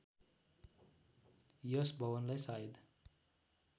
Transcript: यस भवनलाई सायद